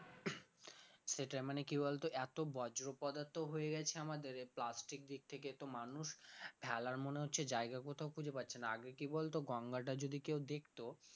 সেটায় মানে কি বলতো এত বজ্র পদার্থ হয়ে গেছে আমাদের এই plastic দিক থেকে তো মানুষ ফেলার মনে হচ্ছে জায়গা কোথাও খুঁজে পাচ্ছে না আগে কি বলতো গঙ্গা টা যদি কেউ দেখত